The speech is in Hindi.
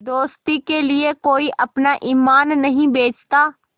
दोस्ती के लिए कोई अपना ईमान नहीं बेचता